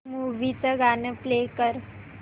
movie चं गाणं play कर